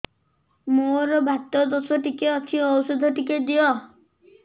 ମୋର୍ ବାତ ଦୋଷ ଟିକେ ଅଛି ଔଷଧ ଟିକେ ଦିଅ